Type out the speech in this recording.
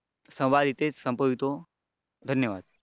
संवाद इथेच संपवितो धन्यवाद